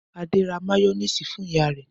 Adé ra máyónísì fún ìyá rẹ̀.